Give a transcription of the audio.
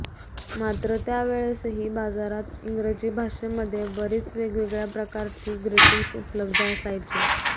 मात्र त्या वेळेसही बाजारात इंग्रजी भाषेमध्ये बरीच वेगवेगळ्या प्रकारची ग्रीटींग्स उपलब्ध असायची